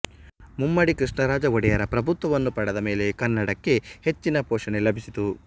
ಮುಮ್ಮಡಿ ಕೃಷ್ಣರಾಜ ಒಡೆಯರ ಪ್ರಭುತ್ವವನ್ನು ಪಡೆದಮೇಲೆ ಕನ್ನಡಕ್ಕೆ ಹೆಚ್ಚಿನ ಪೋಷಣೆ ಲಭಿಸಿತು